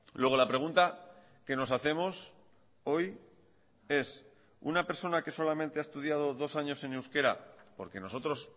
luego la pregunta que nos hacemos hoy es una persona que solamente ha estudiado dos años en euskera porque nosotros